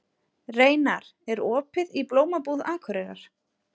Reynar, er opið í Blómabúð Akureyrar?